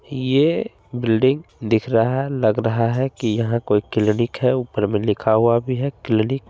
ये बिल्डिंग दिख रहा है लग रहा है की यहाँ कोई क्लिनिक है ऊपर मे लिखा हुआ भी है क्लिनिक |